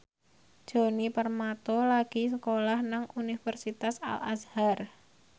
Djoni Permato lagi sekolah nang Universitas Al Azhar